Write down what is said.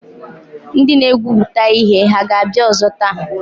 Ndị na-egwupụta ihe hà ga-abịa ọzọ taa?